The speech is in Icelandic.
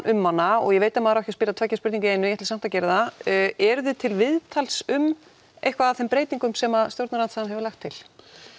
um hana og ég veit að maður á ekki að spyrja tveggja spurninga í einu en ég ætla samt að gera það eruð þið til viðtals um eitthvað af þeim breytingum sem stjórnarandstaðan hefur lagt til